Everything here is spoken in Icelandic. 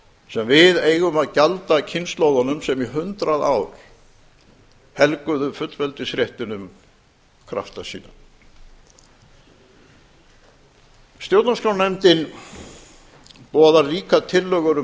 sem við eigum að gjalda kynslóðunum sem í hundrað ár helguðu fullveldisréttinum krafta sína stjórnarskrárnefndin boðar líka tillögur um